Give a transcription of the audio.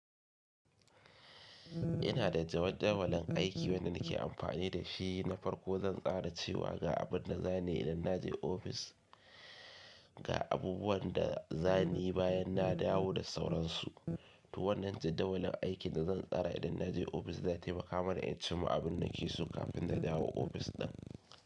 Ina da jadawalin aiki wanda nake amfani da shi na farko zan tsara cewa ga abun da zanyi idan naje ofis, ga abubuwan da zaniyi bayan na dawo da sauransu. To wannan jadawalin aikin da zan tsara idan naje ofis ina taimaka mana in cimma abin nake so kafin na dawo ofis din.